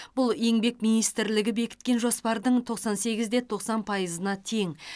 бұл еңбек министрлігі бекіткен жоспардың тоқсан сегізде тоқсан пайызына тең